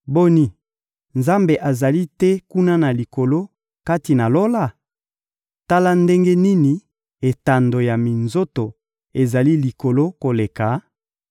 Boni, Nzambe azali te kuna na likolo, kati na Lola? Tala ndenge nini etando ya minzoto ezali likolo koleka!